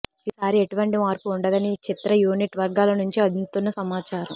ఈసారి ఎటువంటి మార్పు ఉండదని చిత్ర యూనిట్ వర్గాల నుంచి అందుతున్న సమాచారం